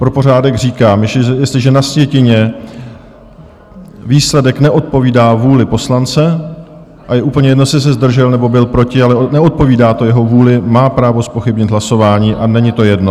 Pro pořádek říkám - jestliže na sjetině výsledek neodpovídá vůli poslance - a je úplně jedno, jestli se zdržel nebo byl proti, ale neodpovídá to jeho vůli - má právo zpochybnit hlasování, a není to jedno.